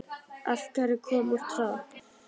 Af hverju kom út tromp?